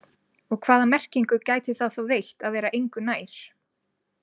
Og hvaða merkingu gæti það þá veitt að vera engu nær?